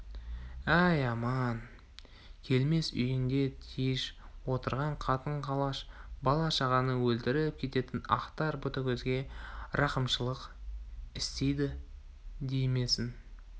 әй аман келмес үйінде тиыш отырған қатын-қалаш бала-шағаны өлтіріп кететін ақтар ботагөзге рахымшылық істейді деймісің